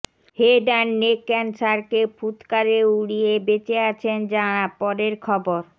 head and neck ক্যান্সারকে ফুৎকারে উড়িয়ে বেঁচে আছেন যাঁরা পরের খবর